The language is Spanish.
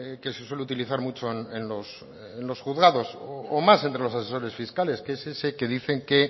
que se suele utilizar mucho en los juzgados o más entre los asesores fiscales que es ese que dice que